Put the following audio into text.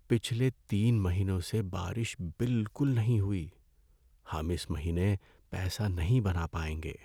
پچھلے تین مہینوں سے بارش بالکل نہیں ہوئی۔ ہم اس مہینے پیسہ نہیں بنا پائیں گے۔